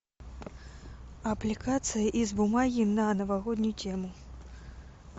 аппликация из бумаги на новогоднюю тему